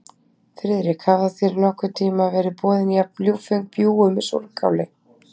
Friðrik, hafa þér nokkurn tíma verið boðin jafn ljúffeng bjúgu með súrkáli?